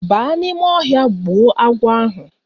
Ba n'ime ohia gbuo agwo ahu